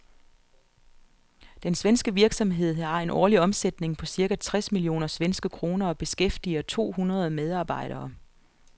Den svenske virksomhed har en årlig omsætning på cirka tres millioner svenske kroner og beskæftiger to hundrede medarbejdere.